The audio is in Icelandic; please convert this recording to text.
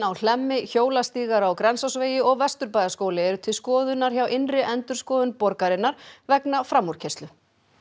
á Hlemmi hjólastígar á Grensásvegi og Vesturbæjarskóli eru til skoðunar hjá innri endurskoðun borgarinnar vegna framúrkeyrslu